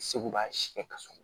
Segu b'a si kɛ ka so